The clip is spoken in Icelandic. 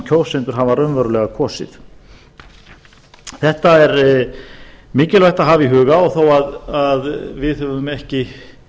kjósendur hafa raunverulega kosið þetta er mikilvægt að hafa í huga og þó að við höfum ekki